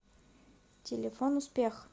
телефон успех